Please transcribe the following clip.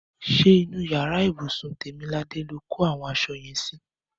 Ṣé inú yàrá ibùsùn Tèmiladé lo kó àwọn aṣọ yẹn sí?